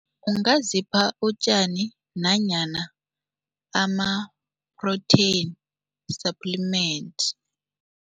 Ungazipha utjani nanyana ama-protein suppliment.